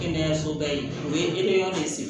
Kɛnɛyasoba ye o ye eresigi